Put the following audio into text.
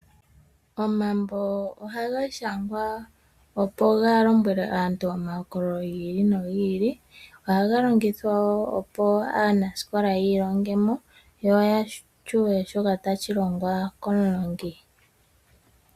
Omambo oha gashangwa opo ga lombwele aantu oma hokololo gi ili no gi ili, oha ga longithwa wo opo aanasikola yi ilongemo yo ya tseye shoka tashi longwa komulongi.